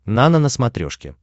нано на смотрешке